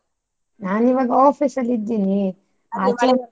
ನಾನಿವಾಗ office ಅಲ್ಲಿ ಇದ್ದೀನಿ .